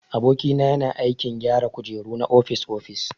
Aboki na yana aikin gyara kujeru na ofis-ofis.